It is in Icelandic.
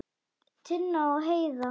Tinna og Heiðar.